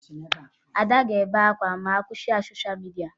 Ada ga-ebe akwa ma a gwa ya kwụsị sosha midia